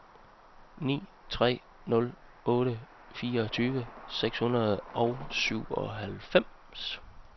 ni tre nul otte fireogtyve seks hundrede og syvoghalvfems